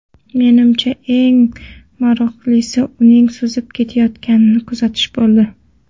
Menimcha, eng maroqlisi uning suzib ketayotganini kuzatish bo‘ldi.